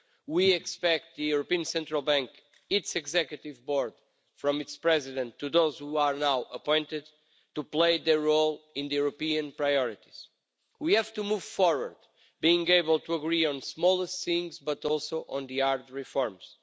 We expect the European Central Bank its Executive Board, from its President to those who are now appointed to play their role in the European priorities. We have to move forward, being able to agree on smaller things, but also on the hard reforms.